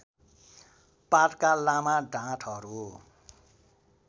पातका लामा डाँठहरू